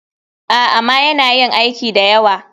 A,ama yana yin aiki dayawa.